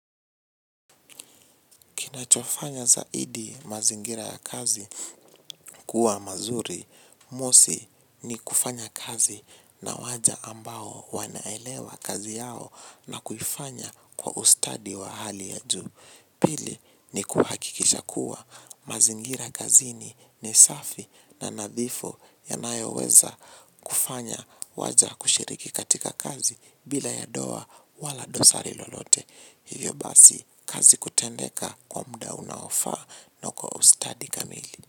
Kinachofanya zaidi mazingira ya kazi kuwa mazuri. Mosi ni kufanya kazi na waja ambao wanaelewa kazi yao na kuifanya kwa ustadi wa hali ya juu. Pili ni kuhakikisha kuwa mazingira kazini nisafi na nadhifu yanayoweza kufanya waja kushiriki katika kazi bila ya doa wala dosari lolote. Hivyo basi, kazi kutendeka kwa muda unaofa na kwa ustadi kamili.